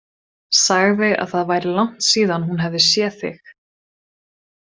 Sagði að það væri langt síðan hún hefði séð þig.